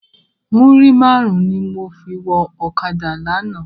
Múrí márùn ni mó fi wò òkádá làná